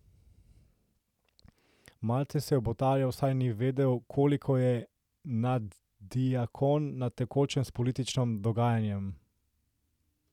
Malce se je obotavljal, saj ni vedel, koliko je naddiakon na tekočem s političnim dogajanjem.